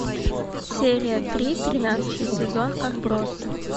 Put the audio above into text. серия три тринадцатый сезон отбросы